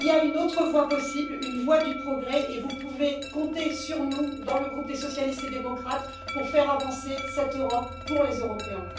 Il y a une autre voie possible, une voie du progrès, et vous pouvez compter sur nous, dans le groupe des socialistes et démocrates, pour faire avancer cette Europe pour les Européens.